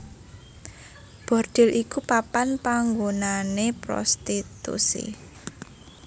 Bordhil iku papan panggonané prostitusi